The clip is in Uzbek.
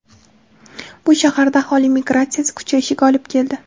Bu shaharda aholi migratsiyasi kuchayishiga olib keldi.